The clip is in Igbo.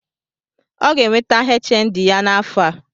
O ga-enweta HND ya n’afọ